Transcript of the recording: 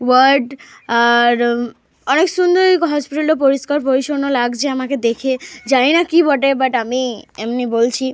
Word আর অনেক সুন্দর হসপিটালটা পরিষ্কার পরিচ্ছন্ন লাগছে আমাকে দেখে। জানিনা কি বটে বাট আমি এমনি বলছি।